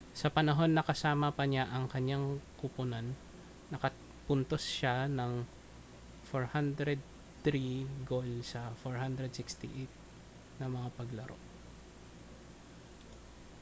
sa panahon na kasama pa niya ang kanyang kuponan nakapuntos siya ng 403 gol sa 468 na mga paglaro